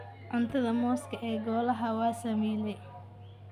Cuna mooska ee golaha waa saamiley.